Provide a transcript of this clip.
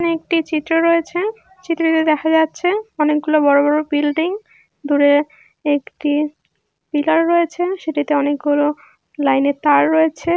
এখানে একটি চিত্র রয়েছে চিত্রটিতে দেখা যাচ্ছে অনেকগুলো বড় বড় বিল্ডিং দূরে একটি পিলার রয়েছে সেটাতে অনেকগুলো লাইনে তার রয়েছে।